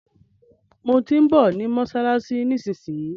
Mo tí ń bọ̀ ní mọ́ṣáláṣí nísinsìnyí.